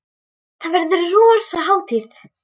Þá verður rosa hátíð!